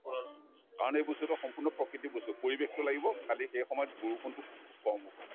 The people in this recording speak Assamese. কাৰণ এই বস্তুতো সম্পূৰ্ণ প্ৰকৃতিক বস্তু পৰিৱেশটো লাগিব খালী সেই সময়ত বৰষুণতো খু‍‍‍খু খুব কম হব লাগে